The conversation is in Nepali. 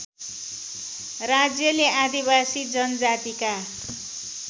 राज्यले आदिवासी जनजातिका